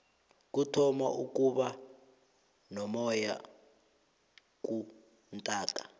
kuthoma ukuba nomoyana kuntaaka